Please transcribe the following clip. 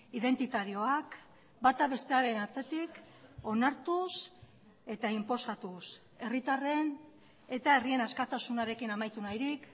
identitarioak bata bestearen atzetik onartuz eta inposatuz herritarren eta herrien askatasunarekin amaitu nahirik